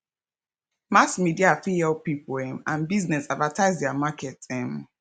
mass media fit help pipo um and business advertise their market um